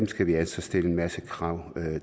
skal vi altså stille en masse krav